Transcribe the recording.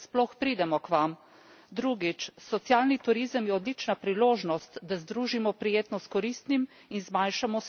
Drugič, socialni turizem je odlična priložnost, da združimo prijetno s koristnim in zmanjšamo sezonsko naravo turizma.